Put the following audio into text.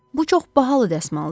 Bu çox bahalı dəsmaldır.